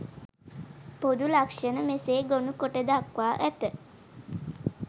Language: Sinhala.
පොදු ලක්ෂණ මෙසේ ගොනුකොට දක්වා ඇත.